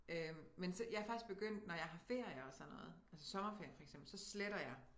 Men så jeg er faktisk begyndt når jeg har ferier og sådan noget altså sommerferie for eksempel så sletter jeg